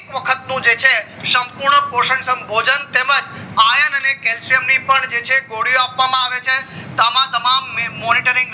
વખતનું જે છે સંપૂર્ણ પોશાષણ ભોજન તેમજ iron calcium ગોળીઓ આપવામાં આવે છે અમ તમામ monitoring